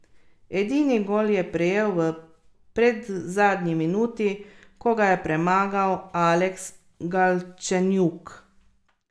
Edini gol je prejel v predzadnji minuti, ko ga je premagal Aleks Galčenjuk.